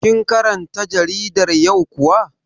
Kin karanta jaridar yau kuwa?